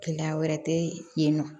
Gɛlɛya wɛrɛ tɛ yen nɔ